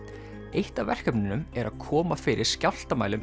eitt af verkefnunum er að koma fyrir